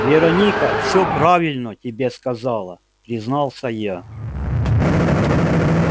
вероника всё правильно тебе сказала признался я